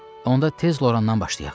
Onda tez Lorandan başlayaq.